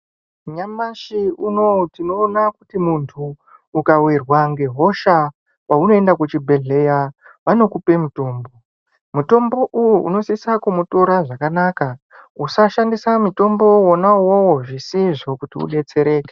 Nyamashi unou tinoona kuti munthu ukawirwa ngehosha paunoenda kuchibhedhleya vanokupa mutombo mutombo uyu unosisa kumutora zvakanaka usashandisa mutombo wona uwowo zvisizvo kuti udetsereke.